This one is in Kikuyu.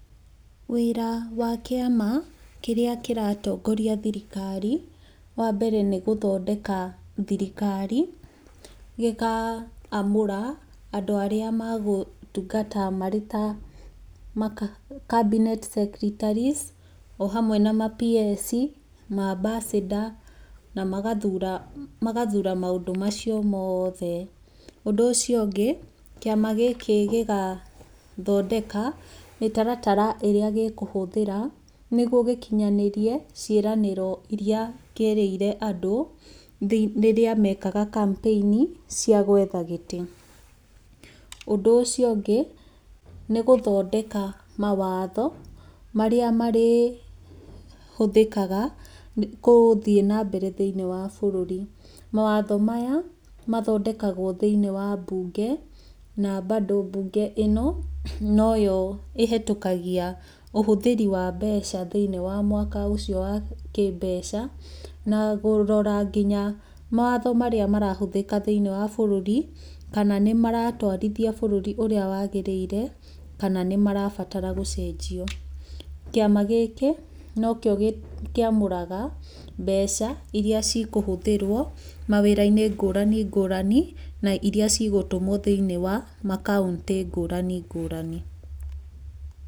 Wĩra wa kĩama kĩrĩa kĩratongoria thirikari, wambere nĩ gũthondeka thirikari gĩkamũra andũ arĩa magũtungata marĩ ta cabinet secretaries ohamwe na ma-PS, ma ambassador na magathura maũndũ macio mothe, ũndũ ũcio ũngĩ, kĩama gĩkĩ gĩgathondeka mĩtaratara ĩrĩa gĩkũhũthĩra nĩgũo gĩkinyanĩrĩe ciĩranĩro iria kĩerĩire andũ rĩrĩa mekaga campaign cia gwetha gĩtĩ. ũndũ ũcio ũngĩ nĩ gũthondeka mawatho marĩa marĩ hũthĩkaga gũthiĩ na mbere thĩiniĩ wa bũrũri. Mawatho maya mathondekagwo thĩinĩ wa mbunge na bado mbunge ĩno noyo ĩhĩtũkagia ũhũthĩri wa mbeca thĩiniĩ wa mwaka ũcio wa kĩmbeca, na kũrora nginya mawatho marĩa marahũthĩka thĩiniĩ wa bũrũri kana nĩ maratwarithia bũrũri ũrĩa wagĩrĩire kana nĩmarabatara gũcenjio. Kĩama gĩkĩ no kĩo kĩamũraga mbeca iria cikũhũthĩrwo mawĩra-inĩ ngũrani ngũrani na iria cigũtũmwo thĩiniĩ wa makauntĩ ngũrani ngũrani.